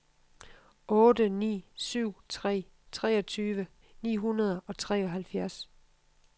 otte ni syv tre treogtyve ni hundrede og treoghalvfjerds